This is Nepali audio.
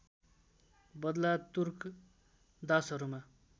बदला तुर्क दासहरूमा